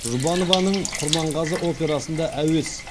жұбанованың құрманғазы операсында әуес